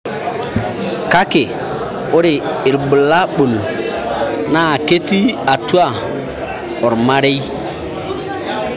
kake ore irbulabul na ketii atua ormarei